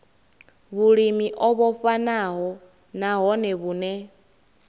vhulimi o vhofhanaho nahone vhune